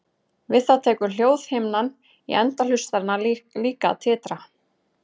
Við það tekur hljóðhimnan í enda hlustarinnar líka að titra.